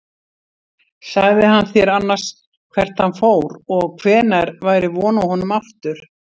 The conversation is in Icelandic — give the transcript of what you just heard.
Sagði hann þér annars hvert hann fór og hvenær væri von á honum aftur?